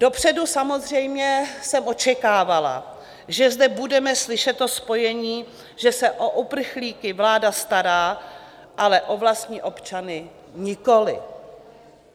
Dopředu samozřejmě jsem očekávala, že zde budeme slyšet to spojení, že se o uprchlíky vláda stará, ale o vlastní občany nikoliv.